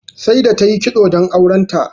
Saida ta yi kitso don auren ta.